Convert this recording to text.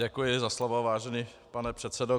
Děkuji za slovo, vážený pane předsedo.